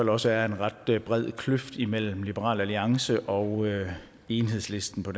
også er en ret bred kløft imellem liberal alliance og enhedslisten for